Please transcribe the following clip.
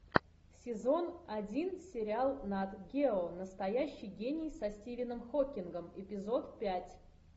сезон один сериал нат гео настоящий гений со стивеном хокингом эпизод пять